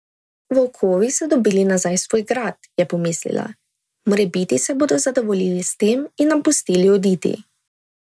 Volkovi so dobili nazaj svoj grad, je pomislila, morebiti se bodo zadovoljili s tem in nam pustili oditi.